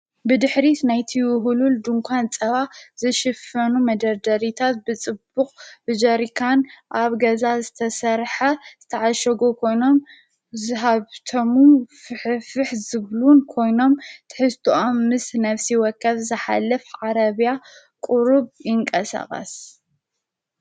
ብድኅሪት ናይቲ ውህሉል ድንኳን ዝጸባ ዘሽፈኑ መደደሪታት ብጽቡቕ ብጀሪካን ኣብ ገዛት ዝተሠርሐ ዝተዓሸጎ ኮይኖም ዝሃብቶሙ ፍፍሕ ዝብሉን ኮይኖም ተሕስቶዖም ምስ ነፍሲ ወከፍ ዘኃልፍ ዓረብያ ቁሩብ ኢንቀ ሰቐስ።